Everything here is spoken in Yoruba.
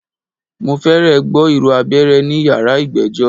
Mo fẹ́rẹ̀ gbọ́ ìró abẹ́rẹ́ ní yàrá ìgbẹ́jọ́.